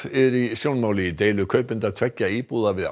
í sjónmáli í deilu kaupenda tveggja íbúða við